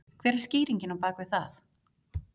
Hver er skýringin á bak við það?